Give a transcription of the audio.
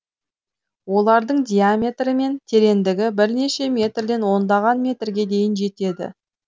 олардың диаметрі мен терендігі бірнеше метрден ондаған метрге дейін жетеді